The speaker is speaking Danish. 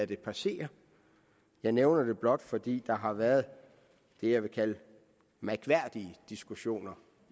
det passere jeg nævner det blot fordi der undervejs har været det jeg vil kalde mærkværdige diskussioner